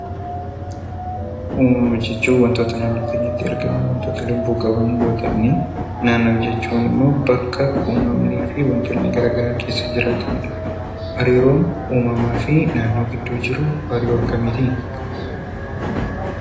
Uumama jechuun wantoota naannoo keenyatti argaman wanta lubbuu qaban yoo ta'an; Naannoo jechuun immoo kan wantoonni gara garaa keessa jiraatani dha. Hariiroon uumamaa fi naannoo gidduu jiru hariiroo akkamiiti?